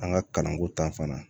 An ka kalanko ta fan na